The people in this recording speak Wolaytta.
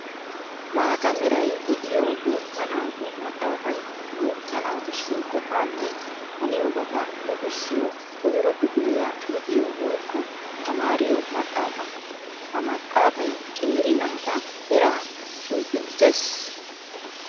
Maata meray de'iyo guuta naatu maxafay guuta naatussi qofanne haniyobatta luxissiya koyro kifiliya luxiyo woykko tamariyo maxafa. Ha maxafay qeeri naata eraa cuccunttees.